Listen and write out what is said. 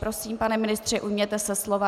Prosím, pane ministře, ujměte se slova.